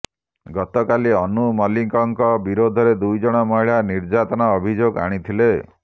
ଗତକାଲି ଅନୁ ମଲିକଙ୍କ ବିରୋଧରେ ଦୁଇଜଣ ମହିଳା ନିର୍ଯାତନା ଅଭିଯୋଗ ଆଣିଥିଲେ